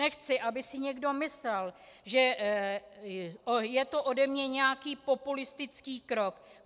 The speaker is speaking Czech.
Nechci, aby si někdo myslel, že je to ode mne nějaký populistický krok.